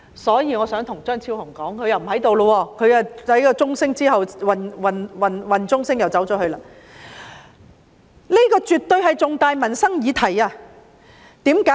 所以，我想對張超雄議員說——他不在席，在點算人數鐘聲響起時離開了——這絕對是重大的民生議題，為甚麼？